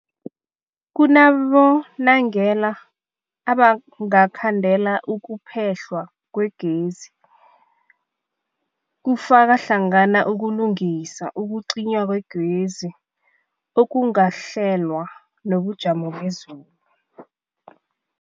Kunabonobangela abangakhandela ukuphehlwa kwegezi, kufaka hlangana ukulungisa, ukucinywa kwegezi okungakahlelwa, nobujamo bezulu.